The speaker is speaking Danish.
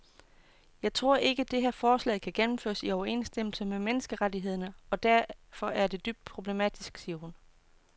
Jeg tror ikke, det her forslag kan gennemføres i overensstemmelse med menneskerettighederne og derfor er det dybt problematisk, siger hun.